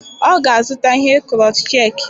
Ọ ga-azụta ihe Crotchet.